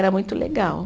Era muito legal.